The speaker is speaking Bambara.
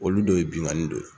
Olu dɔ ye binkani dɔ ye.